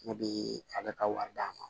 Ne bi a bɛ ka wari d'a ma